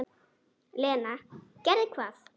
Lena: Gerði hvað?